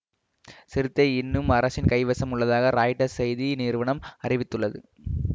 Sirte இன்னும் அரசின் கைவசம் உள்ளதாக ராய்ட்டர்ஸ் செய்தி நிறுவனம் அரிவித்துள்ளது